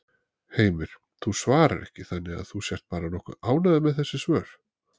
Heimir: Þú svarar ekki þannig að þú sért bara nokkuð ánægður með þessi svör?